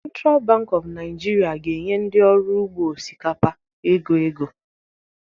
Central Bank of Nigeria ga-enye ndị ọrụ ugbo osikapa ego ego